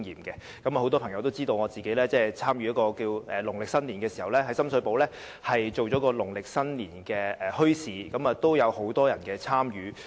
很多朋友也知道，我曾經在農曆新年時，於深水埗參與舉辦一個農曆新年墟市，當時亦有很多人參與。